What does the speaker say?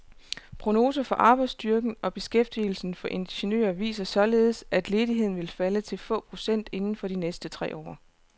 Prognoser for arbejdsstyrken og beskæftigelsen for ingeniører viser således, at ledigheden vil falde til få procent inden for de næste tre år.